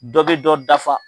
Dɔ bɛ dɔ dafa.